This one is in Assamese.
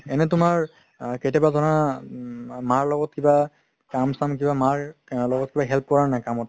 এনে তুমাৰ আ কেতিয়াবা ধৰা উম মাৰ লগত কিবা কাম চাম কিবা মাৰ লগত কিবা help কৰা নে নাই কামত